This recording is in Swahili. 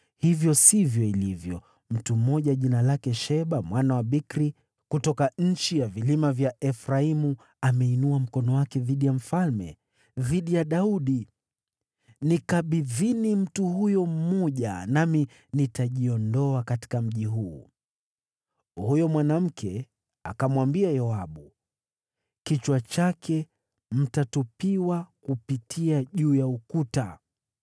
Hivyo sivyo ilivyo. Mtu mmoja jina lake Sheba mwana wa Bikri, kutoka nchi ya vilima vya Efraimu, ameinua mkono wake dhidi ya mfalme, dhidi ya Daudi. Nikabidhini mtu huyu mmoja, nami nitajiondoa katika mji huu.” Huyu mwanamke akamwambia Yoabu, “Kichwa chake mtatupiwa kupitia juu ya ukuta.”